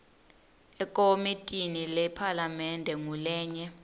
ekomitini lephalamende ngulenye